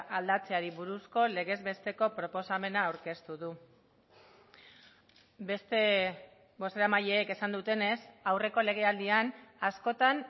aldatzeari buruzko legez besteko proposamena aurkeztu du beste bozeramaileek esan dutenez aurreko legealdian askotan